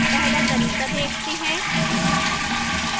पहला तरीका देखते हैं